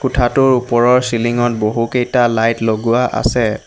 কোঠাটোৰ ওপৰৰ চিলিং ত বহুকেইটা লাইট লগোৱা আছে।